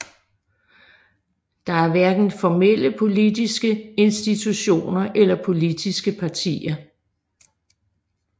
Der er hverken formelle politiske institutioner eller politiske partier